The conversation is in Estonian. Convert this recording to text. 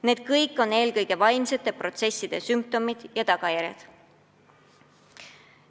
Ja kõik need on eelkõige vaimsete probleemide tagajärjed.